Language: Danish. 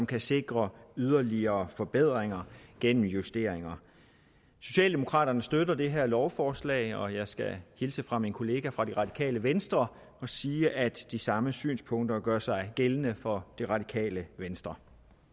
kan sikre yderligere forbedringer gennem justeringer socialdemokraterne støtter det her lovforslag og jeg skal hilse fra min kollega fra det radikale venstre og sige at de samme synspunkter gør sig gældende for det radikale venstre